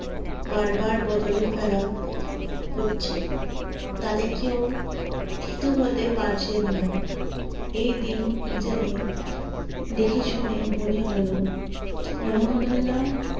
বার বার বদলে ফেলা করছে তাতে কি কেউ থিতো হতে পারছে না এই দিন ইডেনে দেখে শুনে মনে হলো রহমানুল্লা